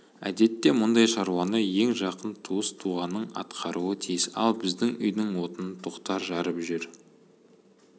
әдетте мұндай шаруаны ең жақын туыс-туғаның атқаруы тиіс ал біздің үйдің отынын тоқтар жарып жүр